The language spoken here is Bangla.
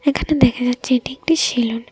এখানে দেখা যাচ্ছে এটি একটি সেলুন ।